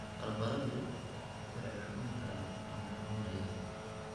Barbaradu way cuncun karaan ama xanuunayaan.